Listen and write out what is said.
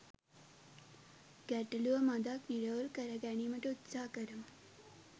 ගැටලුව මදක් නිරවුල් කරගැනීමට උත්සාහ කරමු